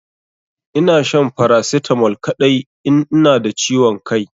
Ina shan paracetamol kadai in ina da ciwon Kai.